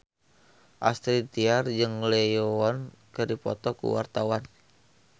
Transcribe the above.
Astrid Tiar jeung Lee Yo Won keur dipoto ku wartawan